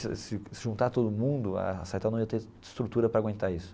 Se juntar todo mundo, a Cytel não ia ter estrutura para aguentar isso.